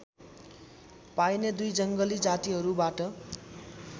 पाइने दुई जङ्गली जातिहरूबाट